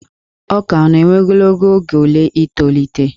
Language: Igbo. Ọka ọ na-ewe ogologo oge ole i tolite?